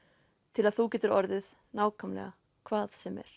til að þú getir orðið nákvæmlega hvað sem er